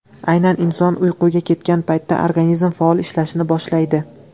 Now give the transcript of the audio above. Aynan inson uyquga ketgan paytda organizm faol ishlashni boshlaydi.